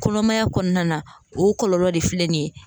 Kɔnɔmaya kɔnɔna na, o kɔlɔlɔ de filɛ nin ye